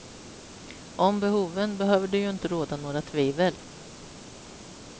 Om behoven behöver det ju inte råda några tvivel.